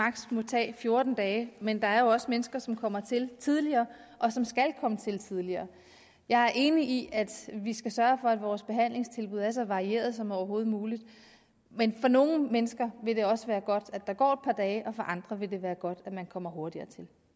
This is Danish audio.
må tage fjorten dage men der er jo også mennesker som kommer til tidligere og som skal komme til tidligere jeg er enig i at vi skal sørge for at vores behandlingstilbud er så varierede som overhovedet muligt men for nogle mennesker vil det også være godt at der går et par dage og for andre vil det være godt at man kommer hurtigere